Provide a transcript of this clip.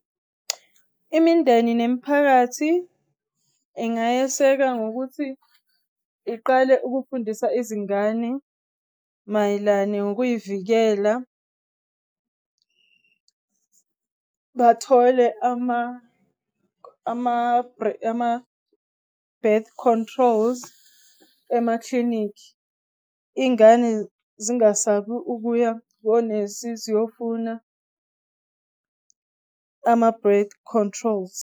Imindeni nemiphakathi engayeseka ngokuthi iqale ukufundisa izingane mayelane ngokuyivikela bathole ama-birth controls emaklinikhi. Iy'ngane zingasabi ukuya konesi ziyofuna ama-birth controls.